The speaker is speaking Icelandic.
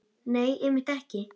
Nei, einmitt ekki.